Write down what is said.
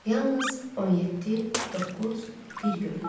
Yalnız 17 9 1 görünürdü.